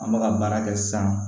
An bɛ ka baara kɛ sisan